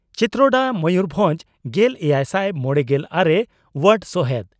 ᱪᱤᱛᱨᱚᱰᱟ ᱢᱚᱭᱩᱨᱵᱷᱚᱸᱡᱽ ᱾ᱜᱮᱞᱮᱭᱟᱭᱥᱟᱭ ᱢᱚᱲᱮᱜᱮᱞ ᱟᱨᱮ ᱚᱣᱟᱨᱰ ᱥᱚᱦᱮᱫ